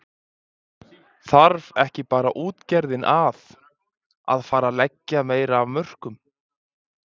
Þarf ekki bara útgerðin að, að fara að leggja meira af mörkum?